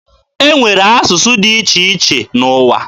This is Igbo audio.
E nwere asụsụ dị iche iche n'ụwa.